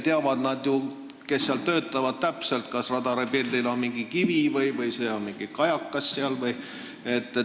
Need, kes seal töötavad, teavad ju täpselt, kas radaripildil on kivi või on see kajakas jne.